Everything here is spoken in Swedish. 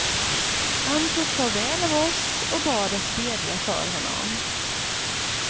Han tog farväl av oss och bad oss bedja för honom.